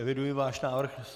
Eviduji váš návrh.